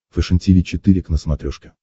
фэшен тиви четыре к на смотрешке